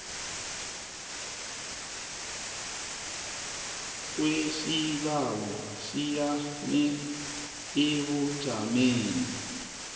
kwesibawo siyame ebujameni